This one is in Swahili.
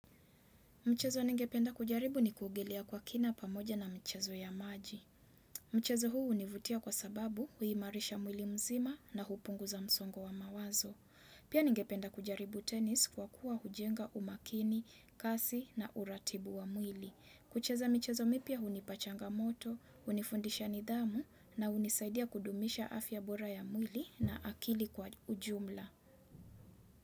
Mchezo ningependa kujaribu ni kuogelea kwa kina pamoja na mchezo ya maji. Mchezo huu hunivutia kwa sababu huimarisha mwili mzima na hupunguza msongo wa mawazo. Pia ningependa kujaribu tenis kwa kuwa hujenga umakini, kasi na uratibu wa mwili. Kucheza michezo mipya hunipa changamoto, hunifundisha nidhamu na hunisaidia kudumisha afya bora ya mwili na akili kwa ujumla.